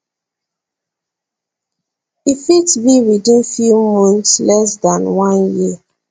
e fit be within few months less dan one year